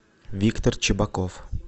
виктор чебаков